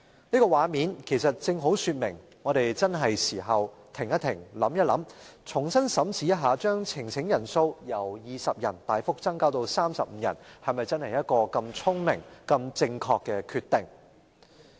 這個畫面正好說明，我們確實需要在此時此刻停一停，想一想，重新審視把呈請人數門檻由20人大幅增至35人，是否真的是個聰明且正確的決定。